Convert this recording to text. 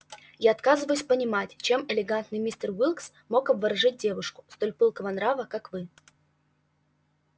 я отказываюсь понимать чем элегантный мистер уилкс мог обворожить девушку столь пылкого нрава как вы